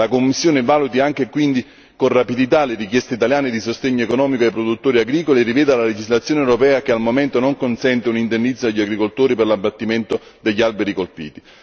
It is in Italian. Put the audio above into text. La Commissione valuti anche quindi con rapidità le richieste italiane di sostegno economico ai produttori agricoli e riveda la legislazione europea che al momento non consente un indennizzo agli agricoltori per l'abbattimento degli alberi colpiti.